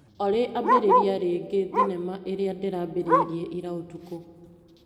Olĩ ambĩrĩria rĩngĩ thinema ĩrĩa ndĩrambĩrĩirie ira ũtukũ.